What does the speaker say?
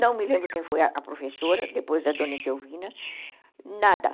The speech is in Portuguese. Não me lembro quem foi a professora, depois da dona Etelvina, nada.